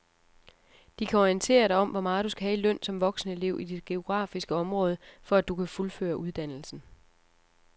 De kan orientere dig om hvor meget du skal have i løn som voksenelev i dit geografiske område, for at du kan fuldføre uddannelsen.